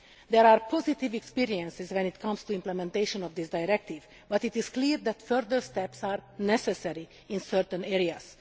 There are positive experiences when it comes to implementation of this directive, but it is clear that further steps are necessary in certain areas.